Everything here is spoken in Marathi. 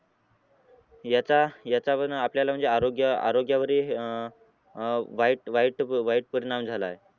आणि याच्या याच्यामुळे आपल्या आरोग्या आरोग्यावरही अह अह वाईट वाईट वाईट परिणाम झाला आहे